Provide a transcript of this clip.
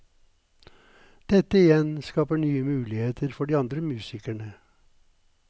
Dette igjen skaper nye muligheter for de andre musikerne.